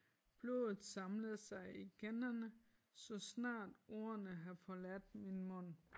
Blodet samlede sig i kinderne så snart ordene har forladt min mund